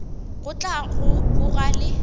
go tla go boga le